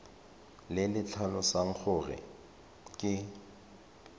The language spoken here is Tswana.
le le tlhalosang gore ke